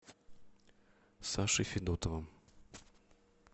сашей федотовым